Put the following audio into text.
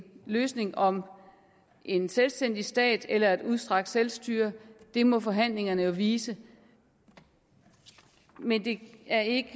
løsning om en selvstændig stat eller et udstrakt selvstyre må forhandlingerne vise men det er ikke